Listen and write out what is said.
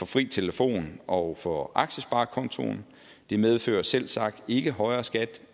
fri telefon og for aktiesparekontoen det medfører selvsagt ikke højere skat